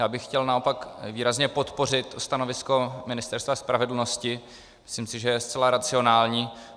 Já bych chtěl naopak výrazně podpořit stanovisko Ministerstva spravedlnosti, myslím si, že je zcela racionální.